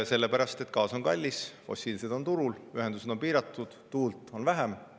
Sellepärast, et gaas on kallis, fossiilne on turul, ühendused on piiratud ja tuult on vähem.